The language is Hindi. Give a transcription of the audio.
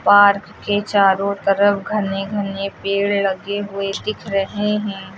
पार्क के चारों तरफ घने घने पेड़ लगे हुए दिख रहे हैं।